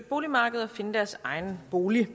muligt at